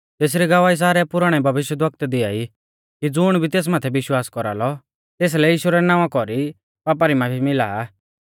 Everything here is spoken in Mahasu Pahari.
तेसरी गवाही सारै पुराणै भविष्यवक्ता दिआई कि ज़ुण भी तेस माथै विश्वास कौरालौ तेसलै यीशु रै नावां कौरी पापा री माफी मिला आ